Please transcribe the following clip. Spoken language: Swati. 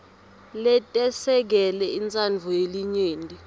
letesekele intsandvo yelinyenti